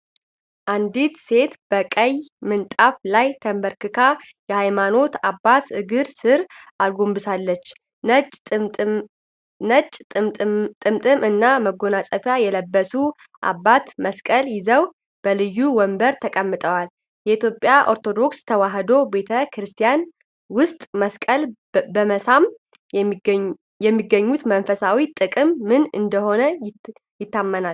አንዲት ሴት በቀይ ምንጣፍ ላይ ተንበርክካ የሃይማኖት አባት እግር ስር አጎንብሳለች። ነጭ ጥምጣም እና መጎናጸፊያ የለበሱት አባት መስቀል ይዘው በልዩ ወንበር ተቀምጠዋል። በኢትዮጵያ ኦርቶዶክስ ተዋሕዶ ቤተ ክርስቲያን ውስጥመስቀል በመሳም የሚያገኙት መንፈሳዊ ጥቅም ምን እንደሆነ ይታመናል?